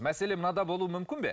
мәселе мынада болуы мүмкін бе